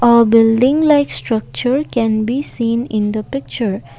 a building like structure can be seen in the picture.